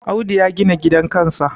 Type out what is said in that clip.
Audu ya gina gidan kansa